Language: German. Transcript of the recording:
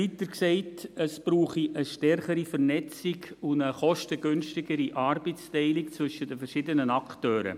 Weiter sagte er, es brauche eine stärkere Vernetzung und eine kostengünstigere Arbeitsteilung zwischen den verschiedenen Akteuren.